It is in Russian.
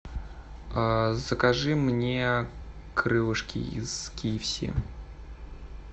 закажи мне крылышки из кфс